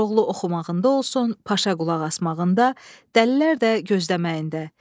Koroğlu oxumağında olsun, Paşa qulaq asmağında, dəlilər də gözləməyində.